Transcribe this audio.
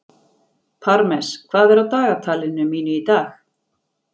Parmes, hvað er á dagatalinu mínu í dag?